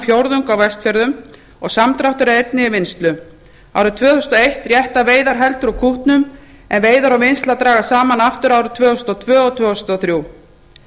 fjórðung á vestfjörðum og samdráttur er einnig í vinnslu árið tvö þúsund og eina rétta veiðar heldur úr kútnum en veiðar og vinnsla dragast saman aftur árin tvö þúsund og tvö og tvö þúsund og þrjú